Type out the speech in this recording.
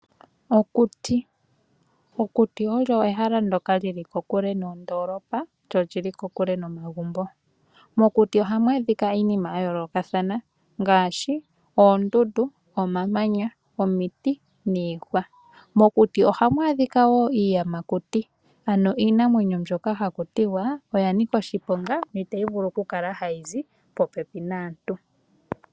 Okuti. Okuti olyo ehala ndoka lyili kokule noondoolopa, lyo lyili kokule nomagumbo. Mokuti ohamu adhika iinima ya yoolokathana ngaashi: oondundu, omamanya, omiti, niihwa. Mokuti ohamu adhika wo iiyamakuti. Ano iinamwenyo mbyoka hakuti wa, oya nika oshiponga, na itayi vulu okukala hayi zi popepi naantu.